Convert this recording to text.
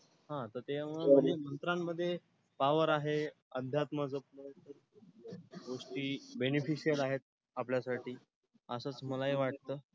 हा तर त्यामुळं म्हणजे मंत्रांमध्ये power आहे, आध्यात्मक गोष्टी beneficial आहेत आपल्यासाठी असंच मलाही वाटतं.